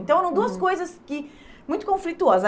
Então, eram duas coisas que... Muito conflituosas.